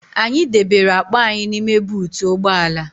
Anyị debere akpa anyị n'ime buutu ụgbọ ala